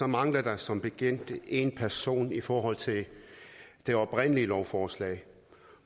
mangler der som bekendt en person i forhold til det oprindelige lovforslag